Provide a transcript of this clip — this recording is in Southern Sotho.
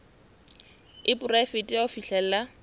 e poraefete ya ho fihlella